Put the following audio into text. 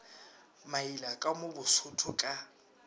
maila ka mo bosotho ka